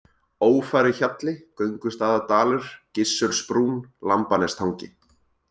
Ófæruhjalli, Göngustaðadalur, Gissursbrún, Lambanestangi